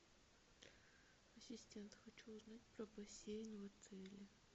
ассистент хочу узнать про бассейн в отеле